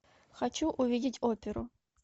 хочу увидеть оперу